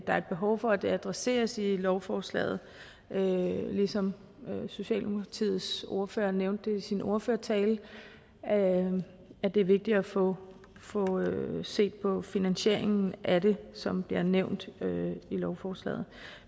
er et behov for at det adresseres i lovforslaget ligesom socialdemokratiets ordfører nævnte i sin ordførertale at det er vigtigt at få set på finansieringen af det som bliver nævnt i lovforslaget